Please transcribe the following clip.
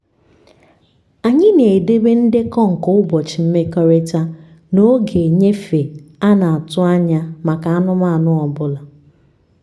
anyị na-edebe ndekọ nke ụbọchị mmekọrịta na oge nnyefe a na-atụ anya ya maka anụmanụ ọ bụla